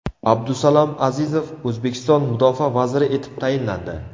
Abdusalom Azizov O‘zbekiston mudofaa vaziri etib tayinlandi.